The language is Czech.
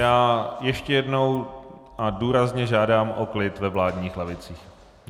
Já ještě jednou a důrazně žádám o klid ve vládních lavicích.